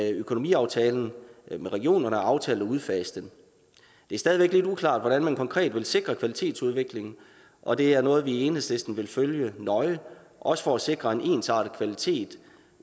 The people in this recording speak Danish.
i økonomiaftalen med regionerne er aftalt at udfase den det er stadig væk lidt uklart hvordan man konkret vil sikre kvalitetsudviklingen og det er noget vi i enhedslisten vil følge nøje også for at sikre en ensartet kvalitet